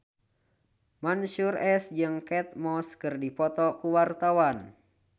Mansyur S jeung Kate Moss keur dipoto ku wartawan